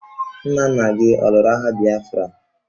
Nna nna gi ọ lụrụ agha Bịafra?